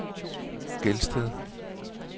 Gelsted